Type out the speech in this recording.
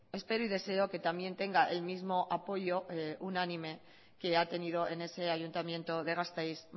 espero y deseo que también tenga el mismo apoyo unánime que ha tenido en ese ayuntamiento de gasteiz